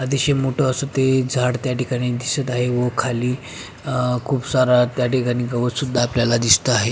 अतिशय मोठं असं ते झाडं त्या ठिकाणी दिसत आहे व खाली खूप सार गवत सुद्धा आपल्याला त्या ठिकाणी दिसत आहे.